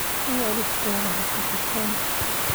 Waalidkaa ha ka xishoon.